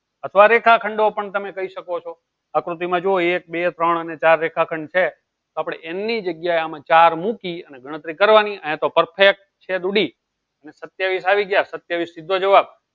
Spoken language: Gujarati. આ રેખાખંડો પણ તમે કહી શકો છો આકૃતિમાં જુઓ એક બે ત્રણ અને ચાર રેખાખંડ છે આપણે n ની જગ્યાએ ચાર મૂકી અને ગણતરી કરવાની અને તો perfect છેદ ઉડી અને સત્યાવીસ આવી ગયા સત્યાવીસ સીધો જવાબ